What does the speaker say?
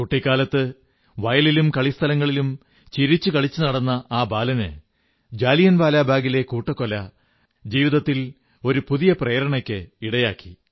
കുട്ടിക്കാലത്ത് വയലിലും കളിസ്ഥലങ്ങളിലും ചിരിച്ചു കളിച്ചു നടന്ന ആ ബാലന് ജാലിയൻ വാലാബാഗിലെ ക്രൂരമായ കൂട്ടക്കൊല ജീവിതത്തിൽ ഒരു പുതിയ പ്രേരണയ്ക്കിടയാക്കി